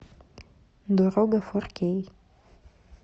дорога фор кей